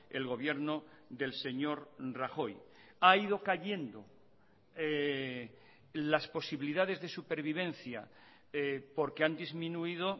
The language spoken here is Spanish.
el gobierno del señor rajoy ha ido cayendo las posibilidades de supervivencia porque han disminuido